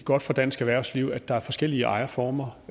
godt for dansk erhvervsliv at der er forskellige ejerformer